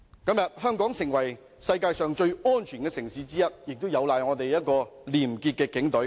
今天香港成為世界上最安全的城市之一，亦有賴我們廉潔的警隊。